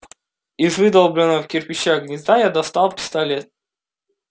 из выдолбленного в кирпичах гнезда я достал пистолет